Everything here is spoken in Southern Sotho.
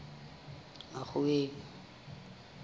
makgoweng